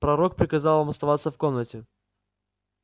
пророк приказал вам оставаться в комнате